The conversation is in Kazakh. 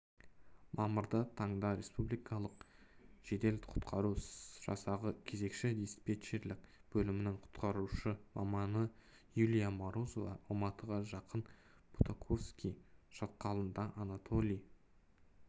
мамырда таңда республикалық жедел-құтқару жасағы кезекші-диспетчерлік бөлімінің құтқарушы маманы юлия морозова алматыға жақын бутаковский шатқалында анатолий